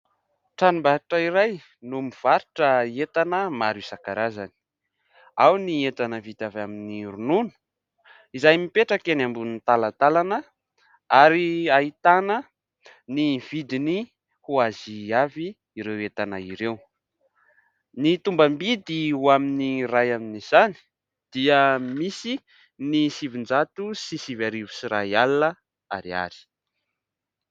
Tranombarotra iray no mivarotra entana maro isan-karazany. Ao ny entana vita avy amin'ny ronono izay mipetraka eny ambony talantalana ary ahitana ny vidiny ho azy avy ireo entana ireo. Ny tombam-bidy ho amin'ny iray amin'izany dia misy ny sivinjato sy sivy arivo sy iray alina ariary.